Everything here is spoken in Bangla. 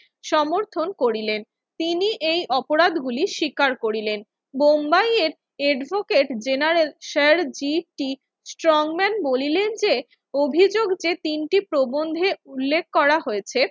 সমর্থন করিলেন। তিনি এই অপরাধগুলি স্বীকার করিলেন। বোম্বাইয়ের advocate general sir G T Strongman বলিলেন যে, অভিযোগ যে তিনটি প্রবন্ধে উল্লেখ করা হয়েছে